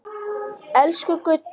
Elsku Gudda.